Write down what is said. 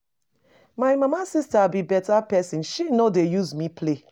My mama sister be better person, she no dey use me play.